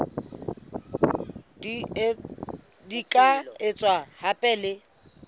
di ka etswa hape le